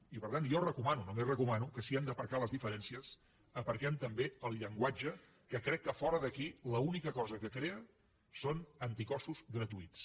i per tant jo recomano només recomano que si hem d’aparcar les diferències aparquem també el llenguatge que crec que fora d’aquí l’única cosa que crea són anticossos gratuïts